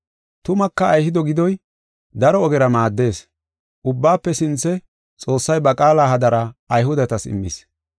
Tumaka Ayhude gidoy daro ogera maaddees. Ubbaafe sinthe Xoossay ba qaala hadara Ayhudetas immis.